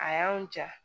A y'an ja